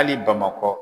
Hali bamakɔ